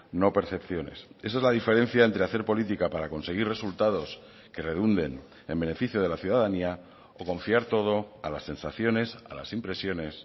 no percepciones esa es la diferencia entre hacer política para conseguir resultados que redunden en beneficio de la ciudadanía o confiar todo a las sensaciones a las impresiones